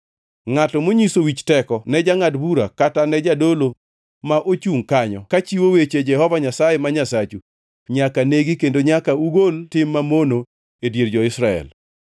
Ngʼato monyiso wich teko ne jangʼad bura kata ne jadolo ma ochungʼ kanyo kachiwo weche Jehova Nyasaye ma Nyasachu nyaka negi kendo nyaka ugol tim mamono e dier jo-Israel.